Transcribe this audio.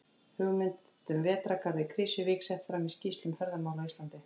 Hugmynd um vetrargarð í Krýsuvík sett fram í skýrslu um ferðamál á Íslandi.